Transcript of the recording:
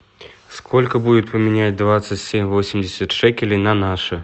сколько будет поменять двадцать семь восемьдесят шекелей на наши